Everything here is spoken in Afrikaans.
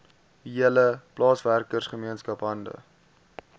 hele plaaswerkergemeenskap hande